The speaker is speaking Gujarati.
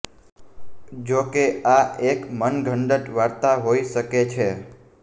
જો કે આ એક મનઘડંત વાર્તા હોઈ શકે છે